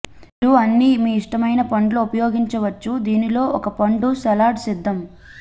మీరు అన్ని మీ ఇష్టమైన పండ్లు ఉపయోగించవచ్చు దీనిలో ఒక పండు సలాడ్ సిద్ధం